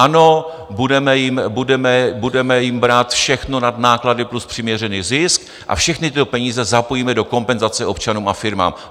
Ano, budeme jim brát všechno nad náklady plus přiměřený zisk a všechny tyto peníze zapojíme do kompenzace občanům a firmám.